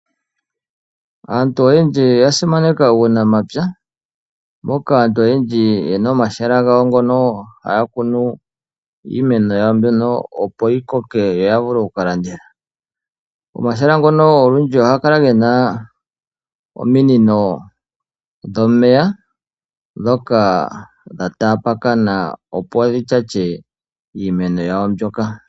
Aantu oyendji oya simaneka uunamapya moka aantu oyendji yena omahala gawo mono haya kunu iimeno yawo opo yikoke yavulu okulanditha. Pmahala ogendji ohaga kala gena ominino dhomeya ndhoka dha taakana opo dhi shashe iimeno yawo mbyoka.